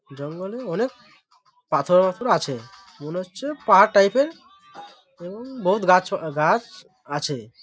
জঙ্গলে অনেক পাথর মাথর আছে । মনে হচ্ছে পাহাড় টাইপ -এর এবং বহুত গাছ পা গাছ আছে।